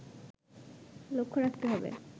লক্ষ্য রাখতে হবে